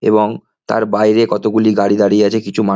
এবং তার বাইরে কতগুলি গাড়ি দাঁড়িয়ে আছে কিছু মান --